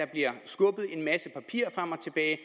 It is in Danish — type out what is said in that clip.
bliver skubbet en masse papirer frem og tilbage at